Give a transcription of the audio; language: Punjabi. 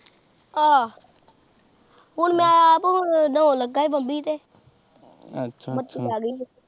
ਆਹ ਹੁਣ ਮੈਂ ਆਪ ਨਾਉਣ ਲਗਾ ਸੀ ਤੇ ਬੱਤੀ ਆ ਗਈ ਐ